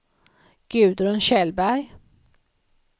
Gudrun Kjellberg